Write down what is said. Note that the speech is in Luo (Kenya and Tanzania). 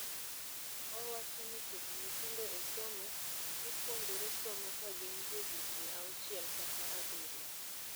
Owacho ni keto nyithindo e somo, gipuonjore somo kagin johigni auchiel kata abirio.